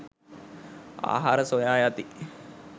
ආහාර සොයා යති